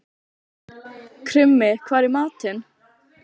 Krummi, hvað er í matinn?